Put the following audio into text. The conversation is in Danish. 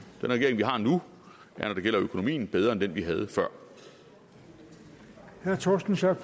den regering vi har nu er når det gælder økonomien bedre end den vi havde før havde før